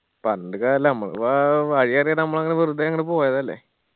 പറഞ്ഞിട്ട് കാര്യല്ല ഞമ്മള് വാ വഴി അറിയാതെ നമ്മൾ അങ്ങന വെറുതെ അങ്ങട് പോയതല്ലേ